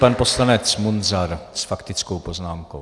Pan poslanec Munzar s faktickou poznámkou.